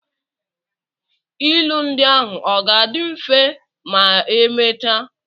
Ilu ndi ahụ ọ ga-adị mfe ma emechaa?